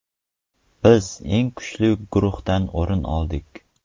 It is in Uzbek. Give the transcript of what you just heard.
Biz eng kuchli guruhdan o‘rin oldik.